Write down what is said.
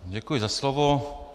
Děkuji za slovo.